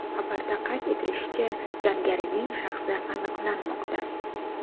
Xabarda qayd etilishicha, jangarining shaxsi aniqlanmoqda.